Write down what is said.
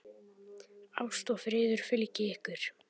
Ást og friður fylgi ykkur.